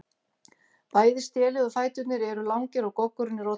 Bæði stélið og fæturnir eru langir og goggurinn er oddhvass.